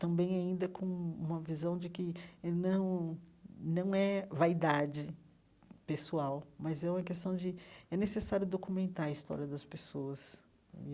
Também ainda com uma visão de que eh não não é vaidade pessoal, mas é uma questão de... É necessário documentar a história das pessoas.